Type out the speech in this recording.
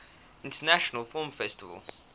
international film festival